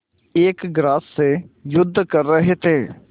एक ग्रास से युद्ध कर रहे थे